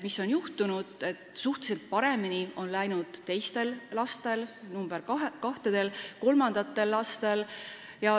Me näeme, et suhteliselt paremini on läinud teistel ja kolmandatel lastel.